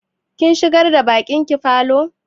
Kin shigar da baƙin ki falo?